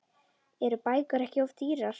Eru bækur ekki of dýrar?